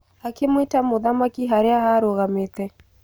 Akĩmwĩta mũthamaki harĩa arũgamĩte